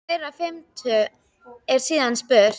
Í þeirri fimmtu er síðan spurt?